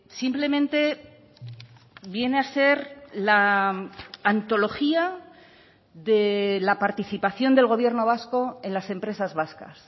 simplemente viene a ser la antología de la participación del gobierno vasco en las empresas vascas